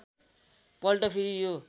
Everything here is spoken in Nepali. पल्ट फेरि यो